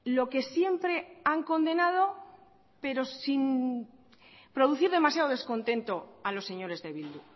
lo que siempre han condenado pero sin producir demasiado descontento a los señores de bildu